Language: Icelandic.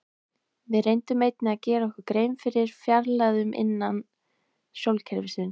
Við reyndum einnig að gera okkur grein fyrir fjarlægðunum innan sólkerfisins.